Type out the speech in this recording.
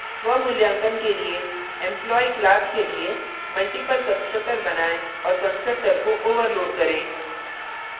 स्वमूल्यांकन के लिए employee class के लिए multiple constructor बनाएँ और constructor को overload करें